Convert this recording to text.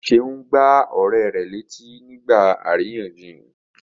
Seun gbá ọ̀rẹ́ rẹ̀ lù nígbà àríyànjiyàn.